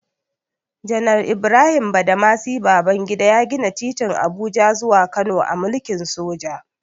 Janar Ibrahim Badamasi Babangida ya gina titin Abuja zuwa Kano a mulkin soja.